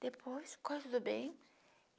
Depois, ficou tudo bem.